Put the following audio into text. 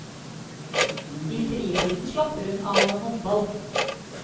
I fritiden slapper hun av med håndball.